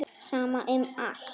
Sama um allt.